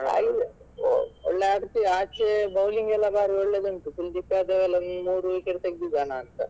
ಒಳ್ಳೆ ಆಚೆ bowling ಎಲ್ಲ ಭಾರಿ ಒಳ್ಳೆದುಂಟು ಕುಲದೀಪ್ ಯಾದವ್ ಎಲ್ಲ ಒಂದು ಮೂರು wicket ತೆಗ್ದಿದ್ದನಾ ಅಂತ.